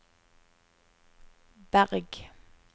Berg